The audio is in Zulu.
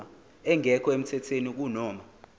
engekho emthethweni kunoma